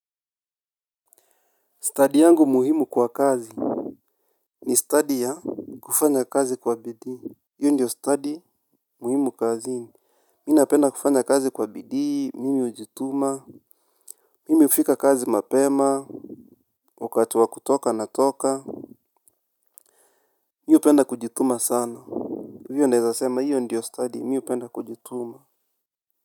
Study yangu muhimu kwa kazi. Ni study ya kufanya kazi kwa bidii. Hiyo ndio study muhimu kazini. Mi napenda kufanya kazi kwa bidii, mimi hujituma. Mimi hufika kazi mapema wakati wa kutoka natoka. Mi hupenda kujituma sana hio naezasema hiyo ndio study, mi hupenda kujituma.